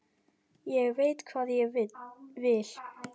Ég veit hvað ég vil!